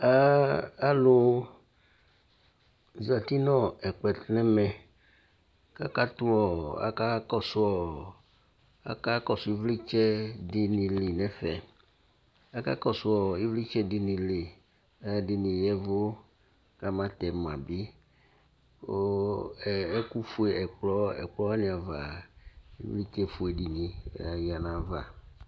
aɑlωzɑti ɲɛ kploɛtuŋɛmɛ ɑkuo ɑkɑkɔsω ïvlitsɛɖiɲili ɑlωɑɖiŋi yévω ƙɑmɑtɛmɑbi ooee ɛkωfuɛ ɛkplɔ wɑɲiɑvɑ ɛkωfωɛɲi lɑ ƴɑnɑvɑ